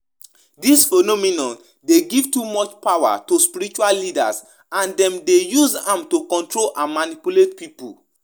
Wetin you know about di po ten tial dangers of giving too much power to spiritual leaders?